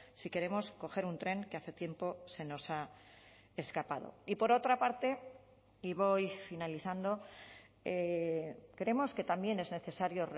si queremos coger un tren que hace tiempo se nos ha escapado y por otra parte y voy finalizando creemos que también es necesario